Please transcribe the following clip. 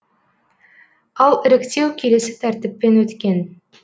ал іріктеу келесі тәртіппен өткен